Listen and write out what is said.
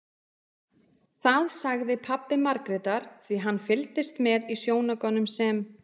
Það sagði pabbi Margrétar því hann fylgdist með í sjónaukanum sem